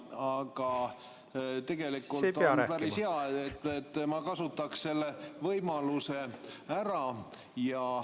Aga tegelikult on see päris hea ja ma kasutaks selle võimaluse ära.